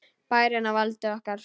Bærinn á valdi okkar!